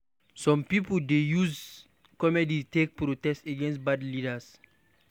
Some pipo dey use comedy take protest against bad leaders